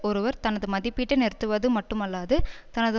ஒருவர் தனது மதிப்பீட்டை நிறுத்துவது மட்டுமல்லாது தனது